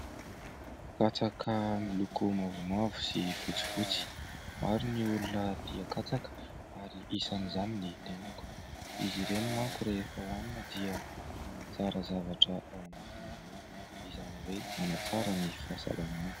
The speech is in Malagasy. Katsaka miloko mavomavo sy fotsifotsy ; maro ny olona tia katsaka ary isan'izany ny tenako. Izy ireny manko rehefa hoanina dia manatsara zavatra ao anatinao ao, izany hoe : manatsara ny fahasalamana.